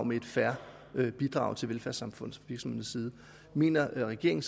give et fair bidrag til velfærdssamfundet mener regeringen